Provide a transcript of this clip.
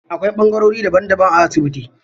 Akwai ɓangarori daban daban a asibiti.